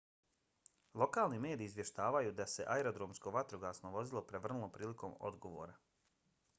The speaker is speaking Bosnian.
lokalni mediji izvještavaju da se aerodromsko vatrogasno vozilo prevrnulo prilikom odgovora